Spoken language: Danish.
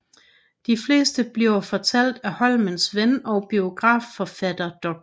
De fleste bliver fortalt af Holmes ven og biografforfatter Dr